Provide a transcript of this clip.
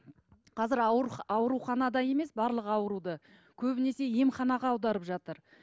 қазір ауруханада емес барлық ауруды көбінесе емханаға аударып жатыр